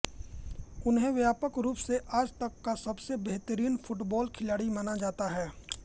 उन्हें व्यापक रूप से आज तक का सबसे बेहतरीन फ़ुटबॉल खिलाड़ी माना जाता है